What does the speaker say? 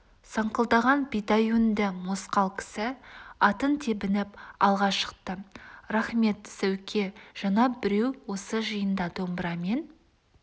саңқылдаған бидай өңді мосқал кісі атын тебініп алға шықты рақмет сәуке жаңа біреу осы жиында домбырамен